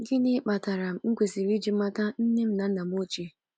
Gịnị Kpatara M kwesịrị iji mata Nne m na Nna m Ochie?